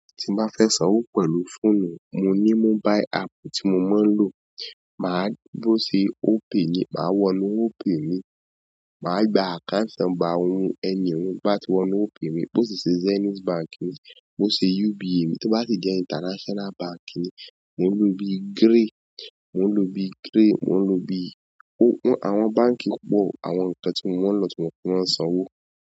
Tí mo bá fẹ́ sanwó pẹ̀lú fóònù, mo ní mobile app tí mo máa ń lò. Máa bó ṣe Opay ni, màá wọnú Opay mi, màá gba account number àwọn ẹni ohun bá ti wọnú Opay mi. Bo ṣe ṣe Zenith Báńk ni, bó ṣe UBA mi, tó bá si jẹ́ international Bank ni, mo ń lò bí Grey, mo ń lò bí Grey, mo ń lò bí-- àwọn báńkì pọ̀ àwọn ńkan tí mo máa ń lò tí mo fi maa n sanwó.